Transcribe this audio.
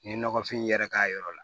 N ye nɔgɔfin yɛrɛ k'a yɔrɔ la